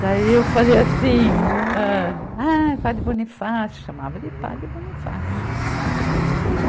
Daí eu falei assim, ah, ah, Padre Bonifácio, chamava de Padre Bonifácio.